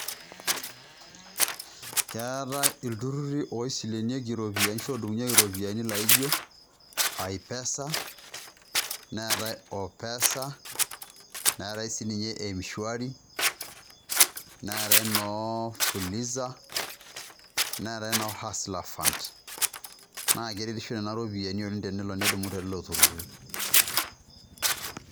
Keetae ilturrurri oshi oisilenunyieki ashu oodumunyieki iropiyiani laijo, Ai pesa, neetae okesha neetae sii ninye Mswari neetae noo fuluza neetae noo haslafund. Naa keretisho Nena ropiyiani oleng' tenelo nidumu telelo turrurri.